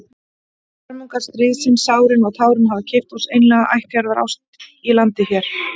Hörmungar stríðsins, sárin og tárin, hafa keypt oss einlæga ættjarðarást í landi hér.